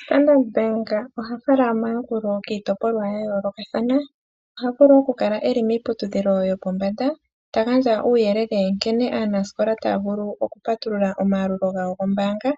Standard Bank oha fala omayakulo kiipolwa ya yoolokathana, oha vulu oku kala miiputudhilo yopombanda ta gandja uuyelele nkene aanasikola taya vulu oku patulula omayalulo gawo gombaanga